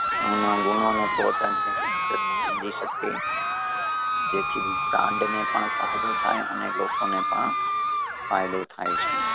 એમાં ગુણો ને પોતાની રીતે સમજી શકે જેથી ને પણ ફાયદો થાય અને લોકો ને પણ ફાયદો થાય છે.